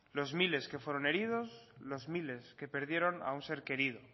los miles que fueron heridos los miles que perdieron a un ser querido